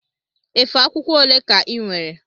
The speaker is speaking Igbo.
Efe akwụkwọ ole ka inwere?